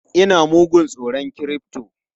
Ina mugun tsoron crypto!